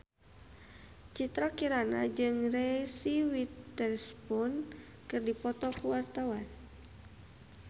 Citra Kirana jeung Reese Witherspoon keur dipoto ku wartawan